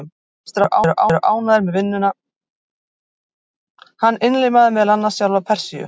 Hann innlimaði meðal annars sjálfa Persíu.